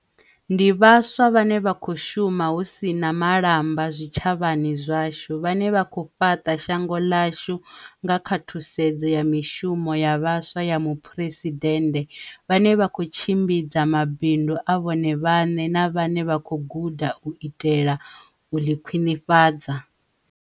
Ndi vhaswa vhane vha khou shuma hu si na mala mba zwitshavhani zwashu, vhane vha khou fhaḽa shango ḽashu nga kha Thusedzo ya Mishumo ya Vhaswa ya Muphuresidennde, vhane vha khou tshimbidza mabindu a vhone vhaḽe na vhane vha khou guda u itela u ḽikhwiḽifhadza.